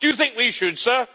Do you think we should, Sir?